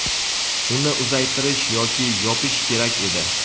uni uzaytirish yoki yopish kerak edi.